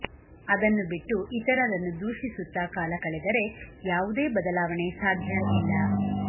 ಅದನ್ನು ಬಿಟ್ಟು ಇತರರನ್ನು ದೂಷಿಸುತ್ತಾ ಕಾಲ ಕಳೆದರೆ ಯಾವುದೇ ಬದಲಾವಣೆ ಸಾದ್ಯ ಇಲ್ಲ